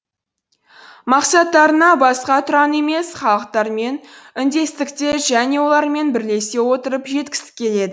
мақсаттарына басқа тұран емес халықтармен үндестікте және олармен бірлесе отырып жеткісі келеді